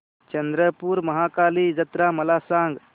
चंद्रपूर महाकाली जत्रा मला सांग